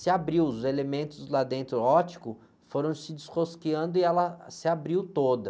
se abriu, os elementos lá dentro óticos, foram se desrosqueando e ela se abriu toda.